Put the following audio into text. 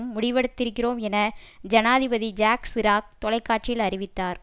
முடிவெடுத்திருக்கிறோம் என ஜனாதிபதி Jacques Chirac தொலைகாட்சியில் அறிவித்தார்